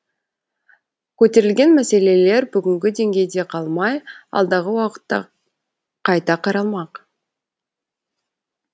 көтерілген мәселелер бүгінгі деңгейде қалмай алдағы уақытта қайта қаралмақ